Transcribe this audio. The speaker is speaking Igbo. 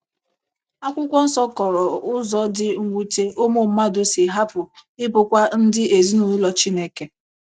Akwụkwọ nsọ kọrọ ụzọ dị mwute ụmụ mmadụ si hapụ ịbụkwa ndị ezinụlọ Chineke.